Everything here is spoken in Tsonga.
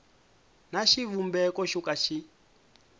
na xivumbeko xo ka xi